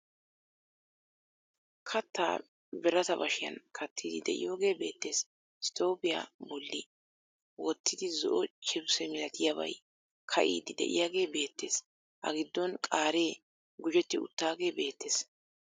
Kattaa birata bashiyan kattiiddi de'iyogee beettees. Stooppiya bolli wottidi zo"o chifise milatiyabay ka'iiddi de'iyagee beettees A giddon qaaree gujetti uttaagee beettees.